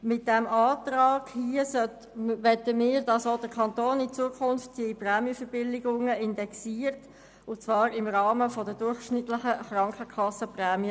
Mit diesem Antrag möchten wir, dass in Zukunft auch der Kanton die Prämienverbilligungen indexiert und zwar im Rahmen der durchschnittlichen Erhöhungen der Krankenkassenprämien.